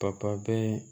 Papa bɛɛ